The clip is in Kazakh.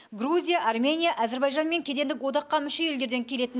грузия армения әзербайжан мен кедендік одаққа мүше елдерден келетін